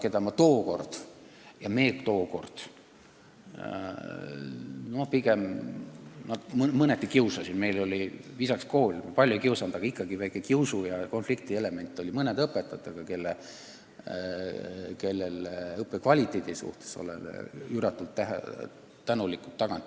Aga mõnda õpetajat ma tookord mõneti kiusasin – meil oli viisakas kool, palju ei kiusanud, aga ikkagi väike kiusu- ja konfliktielement oli mõne õpetajaga –, ent tagantjärele oleme neile õppe kõrge kvaliteedi eest üüratult tänulikud.